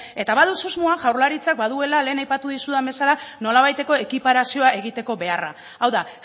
eta badut susmoa jaurlaritzak baduela lehen aipatu dizudan bezala nolabaiteko ekiparazioa egiteko beharra hau da